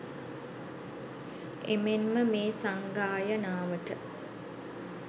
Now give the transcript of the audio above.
එමෙන්ම මේ සංගායනාවට